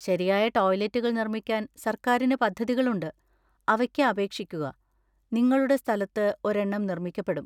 ശരിയായ ടോയ്‌ലറ്റുകൾ നിർമ്മിക്കാൻ സർക്കാരിന് പദ്ധതികളുണ്ട്, അവയ്ക്ക് അപേക്ഷിക്കുക, നിങ്ങളുടെ സ്ഥലത്ത് ഒരെണ്ണം നിർമ്മിക്കപ്പെടും.